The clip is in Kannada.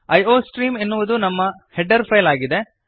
ಐಯೋಸ್ಟ್ರೀಮ್ ಎನ್ನುವುದು ನಮ್ಮ ಹೆಡರ್ ಫೈಲ್ ಆಗಿದೆ